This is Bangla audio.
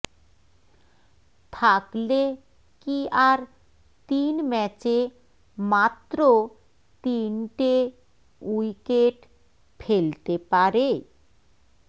থাকলে কী আর তিন ম্যাচে মাত্র তিনটে উইকেট ফেলতে পারে